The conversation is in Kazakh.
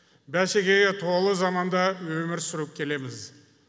бәсекеге толы заманда өмір сүріп келеміз